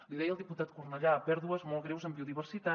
l’hi deia el diputat cornellà pèrdues molt greus en biodiversitat